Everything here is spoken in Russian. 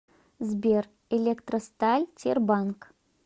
сбер электросталь тербанк